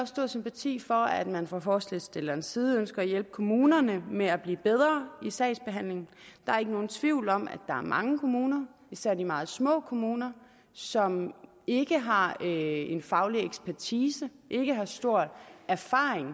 stor sympati for at man fra forslagsstillernes side ønsker at hjælpe kommunerne med at blive bedre i sagsbehandlingen der er ikke nogen tvivl om at der er mange kommuner især de meget små kommuner som ikke har en faglig ekspertise og ikke har stor erfaring